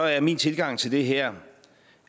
er min tilgang til det her